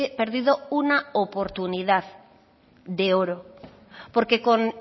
perdido una oportunidad de oro porque con